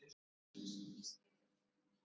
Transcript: Hugsunarlaus, býst ég við.